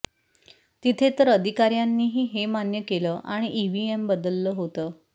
तिथे तर अधिकाऱ्यांनीही हे मान्य केलं आणि ईव्हीएम बदललं होतं